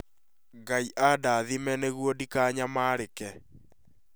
Ngai andathime nĩguo ndikananyamarĩke